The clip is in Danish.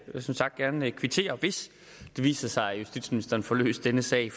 som sagt gerne kvittere hvis det viser sig at justitsministeren får løst denne sag